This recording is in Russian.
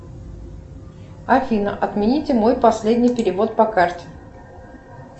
афина отмените мой последний перевод по карте